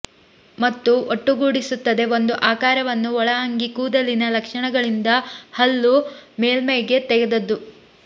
ಮತ್ತು ಒಟ್ಟುಗೂಡಿಸುತ್ತದೆ ಒಂದು ಆಕಾರವನ್ನು ಒಳ ಅಂಗಿ ಕೂದಲಿನ ಲಕ್ಷಣಗಳಿಂದ ಹಲ್ಲು ಮೇಲ್ಮೈಗೆ ತೆಗೆದದ್ದು